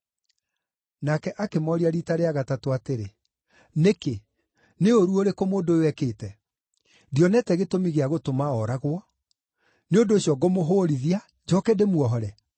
Nake akĩmooria riita rĩa gatatũ atĩrĩ, “Nĩkĩ? Nĩ ũũru ũrĩkũ mũndũ ũyũ eekĩte? Ndionete gĩtũmi gĩa gũtũma ooragwo. Nĩ ũndũ ũcio ngũmũhũũrithia, njooke ndĩmuohore.”